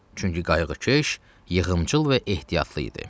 Çünki qayğıkeş, yığımcıl və ehtiyatlı idi.